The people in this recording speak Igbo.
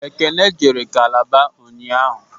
Ekene jere Kalaba ụnyaahụ